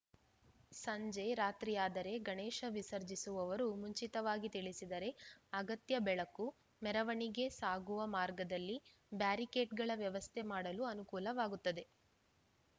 ಸಂಜೆ ರಾತ್ರಿಯಾದರೆ ಗಣೇಶ ವಿಸರ್ಜಿಸುವವರು ಮುಂಚಿತವಾಗಿ ತಿಳಿಸಿದರೆ ಅಗತ್ಯ ಬೆಳಕು ಮೆರವಣಿಗೆ ಸಾಗುವ ಮಾರ್ಗದಲ್ಲಿ ಬ್ಯಾರಿಕೇಡ್‌ಗಳ ವ್ಯವಸ್ಥೆ ಮಾಡಲು ಅನುಕೂಲವಾಗುತ್ತದೆ